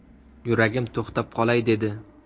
Yuragim to‘xtab qolay dedi.